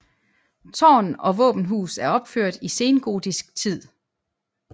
Tårn og våbenhus er opført i sengotisk tid